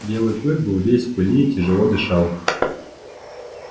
белый клык был весь в пыли и тяжело дышал